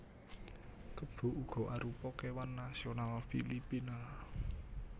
Kebo uga arupa kéwan nasional Filipina